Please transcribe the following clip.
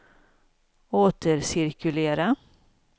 återcirkulera